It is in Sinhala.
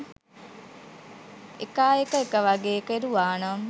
එකා එක එක වගේ කෙරුවානම්